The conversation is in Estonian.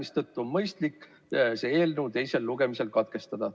Seetõttu on mõistlik selle eelnõu teine lugemine katkestada.